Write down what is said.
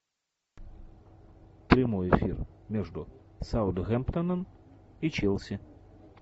прямой эфир между саутгемптоном и челси